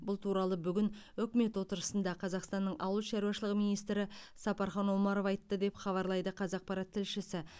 бұл туралы бүгін үкімет отырысында қазақстанның ауыл шаруашылығы министрі сапархан омаров айтты деп хабарлайды қазақпарат тілшісі